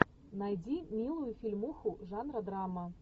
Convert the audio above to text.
найди милую фильмуху жанра драма